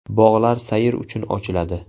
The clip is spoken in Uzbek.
Bog‘lar sayr uchun ochiladi.